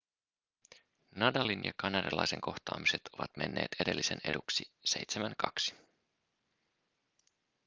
nadalin ja kanadalaisen kohtaamiset ovat menneet edellisen eduksi 7-2